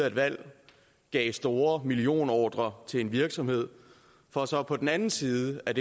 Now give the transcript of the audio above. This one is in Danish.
et valg gav store millionordrer til en virksomhed for så på den anden side af